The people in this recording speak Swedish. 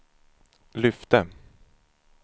lyfte